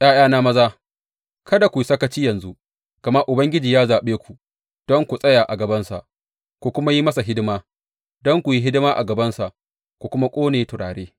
’Ya’yana maza, kada ku yi sakaci yanzu, gama Ubangiji ya zaɓe ku don ku tsaya a gabansa ku kuma yi masa hidima, don ku yi hidima a gabansa ku kuma ƙone turare.